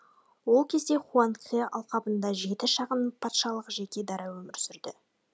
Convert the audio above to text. ол кезде хуанхэ алқабында жеті шағын патшалық жеке дара өмір сүрді